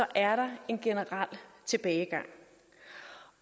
er der en generel tilbagegang